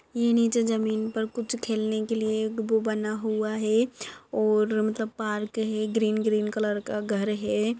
ये नीचे जमीन पर कुछ खेलने के लीये गुबु बना हूआ है और मतलब पार्क है ग्रीन ग्रीन कलर का घर है।